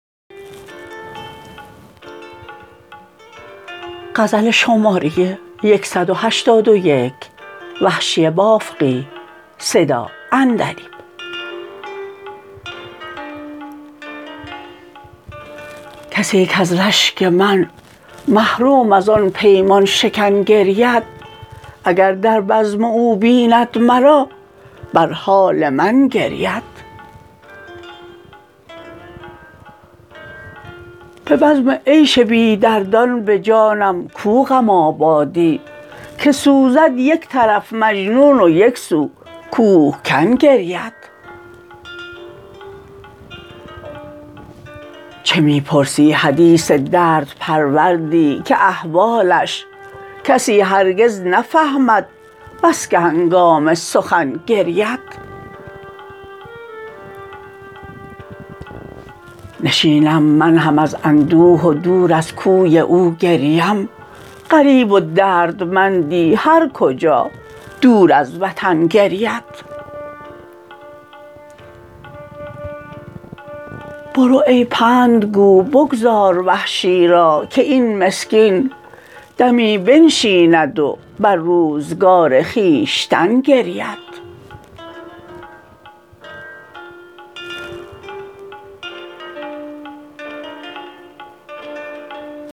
کسی کز رشک من محروم از آن پیمان شکن گرید اگر در بزم او بیند مرا بر حال من گرید به بزم عیش بی دردان به جانم کو غم آبادی که سوزد یک طرف مجنون و یک سو کوهکن گرید چه می پرسی حدیث درد پروردی که احوالش کسی هرگز نفهمد بسکه هنگام سخن گرید نشینم من هم از اندوه و دور از کوی او گریم غریب و دردمندی هر کجا دور از وطن گرید برو ای پندگو بگذار وحشی را که این مسکین دمی بنشیند و بر روزگار خویشتن گرید